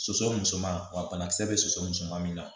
Soso musoman wa banakisɛ bɛ sosoman min na